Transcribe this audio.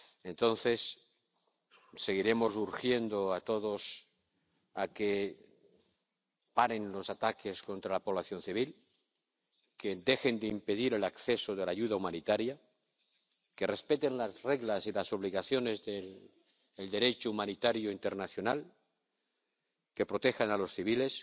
Entonces, seguiremos urgiendo a todos a que paren los ataques contra la población civil, a que dejen de impedir el acceso de la ayuda humanitaria, a que respeten las reglas y las obligaciones del Derecho humanitario internacional, a que protejan a los civiles.